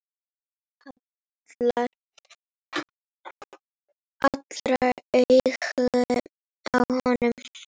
Allra augu á honum.